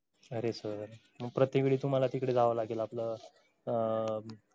अरे sir मग प्रत्येक वेळी तुम्हाला तिकडं जावं लागेल आपलं अं